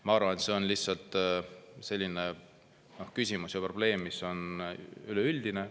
Ma arvan, et see on lihtsalt selline küsimus ja probleem, mis on üleüldine.